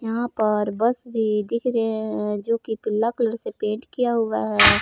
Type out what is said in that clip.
यहां पर बस भी दिख रहे हैं जोकि पीला कलर से पेंट किया हुआ है।